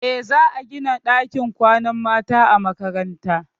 Eh, za a gina ɗakin kwanan mata a makarantar.